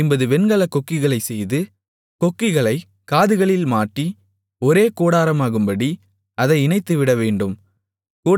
ஐம்பது வெண்கலக் கொக்கிகளைச் செய்து கொக்கிகளைக் காதுகளில் மாட்டி ஒரே கூடாரமாகும்படி அதை இணைத்துவிடவேண்டும்